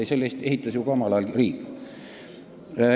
Ei, selle ehitas omal ajal riik.